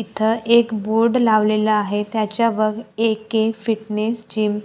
इथं एक बोर्ड लावलेला आहे त्याच्यावर ए_के फिटनेस जिम